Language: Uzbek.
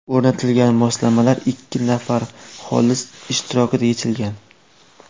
O‘rnatilgan moslamalar ikki nafar xolis ishtirokida yechilgan.